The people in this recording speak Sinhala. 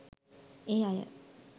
ඒ අය